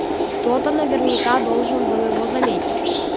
кто-то наверняка должен был его заметить